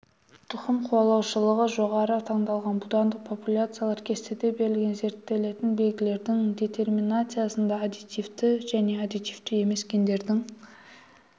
тұқым қуалаушылығы жоғары таңдалған будандық популяциялар кестеде берілген зерттелетін белгілердің детерминациясында аддитивті және аддитивті емес гендердің